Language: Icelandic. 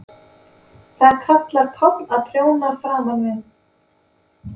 Það kallar Páll að prjóna framan við.